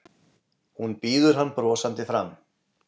Hún býður hann brosandi fram.